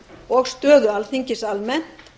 og stöðu alþingis almennt